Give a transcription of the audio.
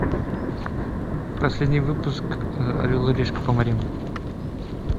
последний выпуск орел и решка по морям